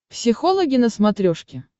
психологи на смотрешке